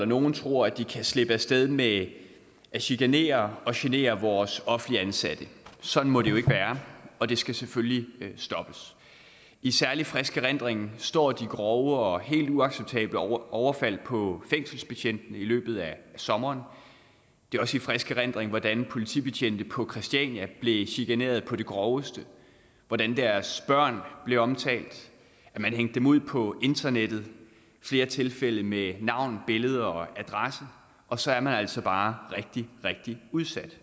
nogle tror at de kan slippe af sted med at genere og chikanere vores offentligt ansatte sådan må det jo ikke være og det skal selvfølgelig stoppes i særlig frisk erindring står de grove og helt uacceptable overfald på fængselsbetjente i løbet af sommeren det er også i frisk erindring hvordan politibetjente på christiania blev chikaneret på det groveste hvordan deres børn blev omtalt og man hængte dem ud på internettet i flere tilfælde med navn billeder og adresse og så er man altså bare rigtig rigtig udsat